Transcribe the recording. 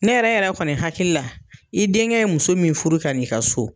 Ne yɛrɛ yɛrɛ kɔni hakili la, i denkɛ ye muso min furu ka n'i ka so